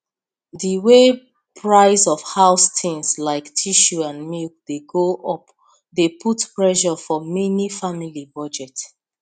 the way price of house things like tissue and milk dey go up dey put pressure for many family budget